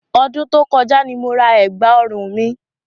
Ọdún tó kọjá ni mo ra ẹ̀gbà òrun mi.